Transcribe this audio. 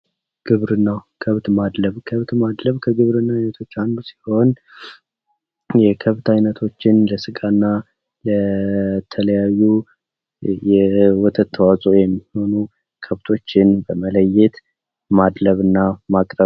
ግብርና ግብርና ከብት ማድለብ ከግብርና አይነቶች አንዱ ሲሆን የከብት አይነቶች ለስጋ እና የተለያዩ የወተት ተእፅዖ ወይም ደግሞ የተለያዩ ከብቶችን በመለየት ማድለብ ወይም ማቅረብ ነው።